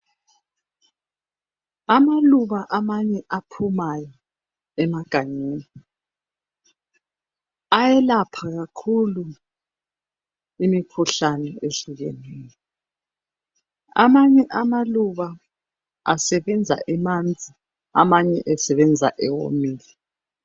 Amaluba amanye aphumayo emagangeni ayelapha kakhulu imikhuhlane ehlukeneyo. Amanye amaluba asebenza emanzi, amanye esebenza ewomile